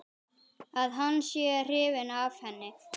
Að hann sé hrifinn af henni.